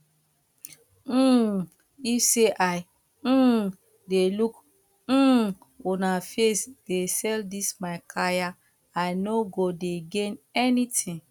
um if to say i um dey look um una face dey sell dis my kaya i no go dey gain anything